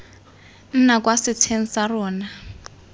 nna kwa setsheng sa rona